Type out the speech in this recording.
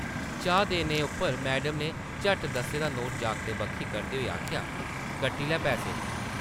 चाह् देने उप्पर मैडम नै झट्ट दस्सें दा नोट जागतै बक्खी करदे होई आखेआ, ‘‘कट्टी लै पैसे ।’’